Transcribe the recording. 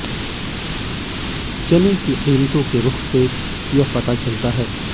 चने की कीमतों के रूख से यह पता चलता है